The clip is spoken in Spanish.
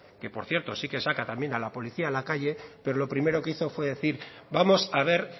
que por cierto sí que saca también a la policía a la calle pero lo primero que hizo fue decir vamos a ver